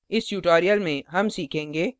इस tutorial में हम सीखेंगे